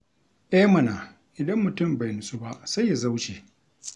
E mana! Idan mutum bai nutsu ba, sai ya zauce.